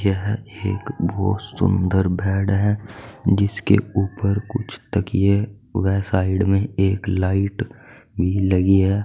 यह एक बोहोत सुंदर बेड है जिसके ऊपर कुछ तकियें व साइड में एक लाइट भी लगी है।